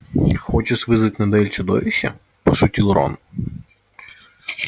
хочешь вызвать на дуэль чудовище пошутил рон